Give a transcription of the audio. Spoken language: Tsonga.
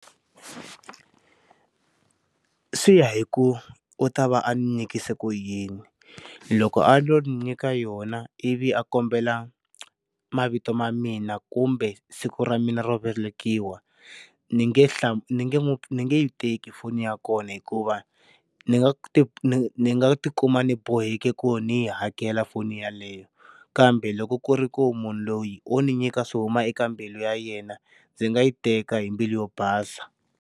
Swiya hi ku u ta va a ndzi nyikile ku yini loko a nyika yona ivi a kombela mavito ma mina kumbe siku ra mina ro velekiwa ndzi nge hla ni nge yi teki foni ya kona hikuva ndzi nga ti ndzi nga tikuma ni boheki ku ndzi yi hakela foni yaleyo kambe loko ku ri ku munhu loyi o ni nyika swi huma eka mbilu ya yena ndzi nga yi teka hi mbilu yo basa.